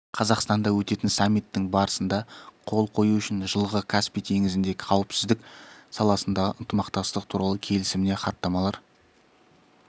қазақстанда өтетін саммиттің барысында қол қою үшін жылғы каспий теңізінде қауіпсіздік саласындағы ынтымақтастық туралы келісіміне хаттамалар